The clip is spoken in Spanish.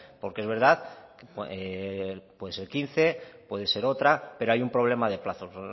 porque es verdad que puede ser quince puede ser otra pero hay un problema de plazos